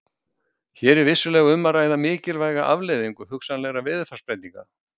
Hér er vissulega um að ræða mikilvæga afleiðingu hugsanlegra veðurfarsbreytinga.